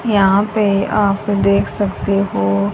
यहां पे आप देख सकते हो--